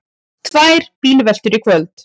Tvær bílveltur í kvöld